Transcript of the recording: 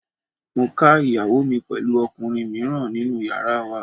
Mo ká ìyàwó mi pẹ̀lú ọkùnrin mìíràn nínú yàrá wa.